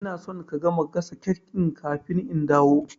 Ina son ka gama gasa cake ɗin kafin in dawo